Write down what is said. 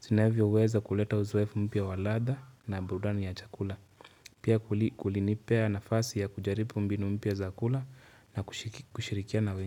zinavyoweza kuleta uzoefu mpya wa ladha na burudani ya chakula Pia kulinipea nafasi ya kujaribu mbinu mpya za kula na kushirikiana na wengi.